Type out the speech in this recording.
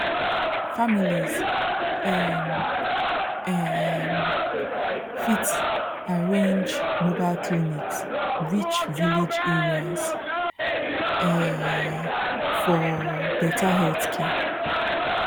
families um um fit arrange mobile clinics reach village areas um for better healthcare